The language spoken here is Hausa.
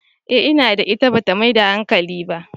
Eh ina da ita, ba ta maida hankali ba.